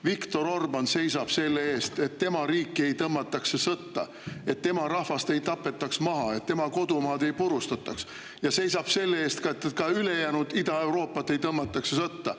Viktor Orbán seisab selle eest, et tema riiki ei tõmmataks sõtta, et tema rahvast ei tapetaks maha, et tema kodumaad ei purustataks, ja seisab selle eest, et ka ülejäänud Ida-Euroopat ei tõmmataks sõtta.